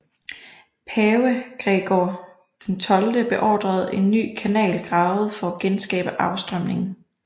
Pave Gregor XII beordrede en ny kanal gravet for at genskabe afstrømningen